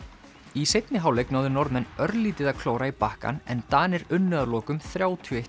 í seinni hálfleik náðu Norðmenn örlítið að klóra í bakkann en Danir unnu að lokum þrjátíu og eitt